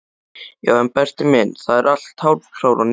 Já en Berti minn, það er allt hálfkarað niðri.